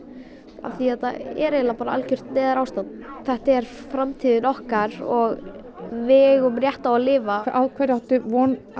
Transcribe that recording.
af því að þetta er eiginlega bara algert neyðarástand þetta er framtíðin okkar og við eigum rétt á að lifa á hverju áttu von